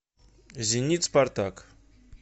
зенит спартак